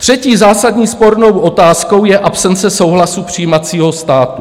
Třetí zásadní spornou otázkou je absence souhlasu přijímajícího státu.